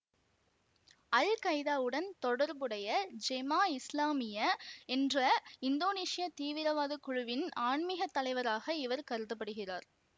அல்கைதாவுடன் தொடர்புடைய Jemaah Islamiyah என்ற இந்தோனேசியத் தீவிரவாத குழுவின் ஆன்மீகத் தலைவராக இவர் கருத படுகிறார்